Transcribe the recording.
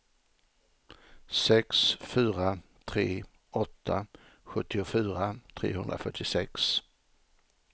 sex fyra tre åtta sjuttiofyra trehundrafyrtiosex